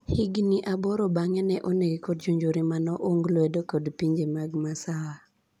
Higni aboro bang'e ne onege kod jonjore mane oung lwedo kod pinje mag masawa